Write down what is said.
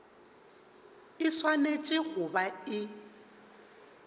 e swanetše go ba e